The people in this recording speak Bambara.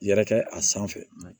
Yɛrɛkɛ a sanfɛ